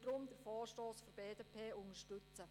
Sie wird den Vorstoss der BDP deshalb unterstützen.